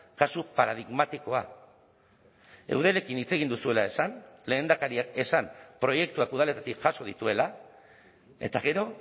kasu paradigmatikoa eudelekin hitz egin duzuela esan lehendakariak esan proiektuak udaletatik jaso dituela eta gero